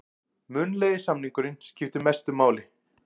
Munnlegi samningurinn skiptir mestu máli